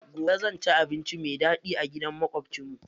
Gobe zan ci abinci mai daɗi a gidan maƙwabcin mu.